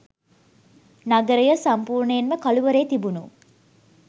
නගරය සම්පූර්ණයෙන්ම කළුවරේ තිබුණු